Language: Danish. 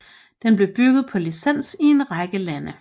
Den blev bygget på licens i en række lande